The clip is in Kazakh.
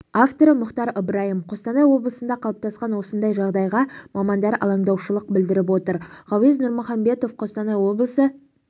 авторы мұхтар ыбырайым қостанай облысында қалыптасқан осындай жағдайға мамандар алаңдаушылық білдіріп отыр ғауез нұрмұхамбетов қостанай облысы